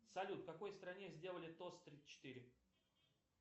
салют в какой стране сделали тост тридцать четыре